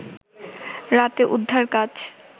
রাতে উদ্ধার কাজ